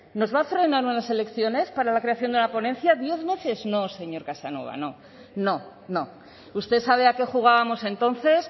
nos van a frenar unas elecciones para la creación de una ponencia diez meses no señor casanova no no usted sabe a qué jugábamos entonces